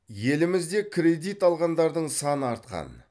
елімізде кредит алғандардың саны артқан